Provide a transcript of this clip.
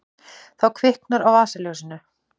þá kviknar á vasaljósinu